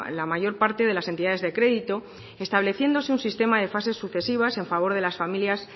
la mayor parte de las entidades de crédito estableciéndose un sistema de fases sucesivas en favor de las familias